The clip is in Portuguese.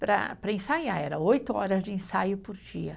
Para, para ensaiar, era oito horas de ensaio por dia.